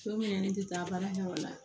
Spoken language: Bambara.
Don min na ne tɛ taa baarakɛwala